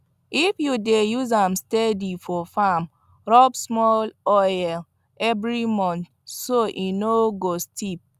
if you dey use am steady for farm rub small oil every month so e no stiff